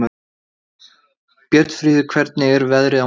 Björnfríður, hvernig er veðrið á morgun?